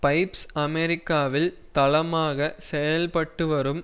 pipes அமெரிக்காவில் தளமாக செயல்பட்டு வரும்